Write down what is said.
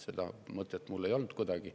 Seda mõtet mul polnudki.